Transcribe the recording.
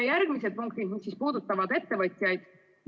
Järgmised punktid puudutavad ettevõtjaid.